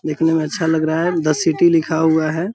देखने में अच्छा लग रहा है द सिटी लिखा हुआ है।